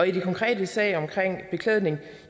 i den konkrete sag omkring beklædning